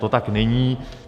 To tak není.